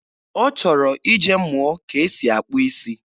Ọ chọrọ ije mụọ ka e si akpụ isi.